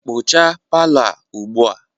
kpochaa palọ a ugbu a!